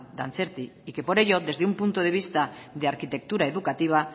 dantzerti y que por ello desde un punto de vista de arquitectura educativa